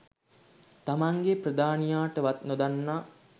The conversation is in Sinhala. තමන්ගේ ප්‍රධානීයාටවත් නොදන්වා.